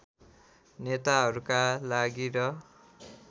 नेताहरूका लागि र